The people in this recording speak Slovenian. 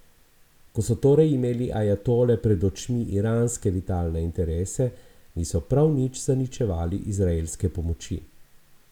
Ko so torej imeli ajatole pred očmi iranske vitalne interese, niso prav nič zaničevali izraelske pomoči.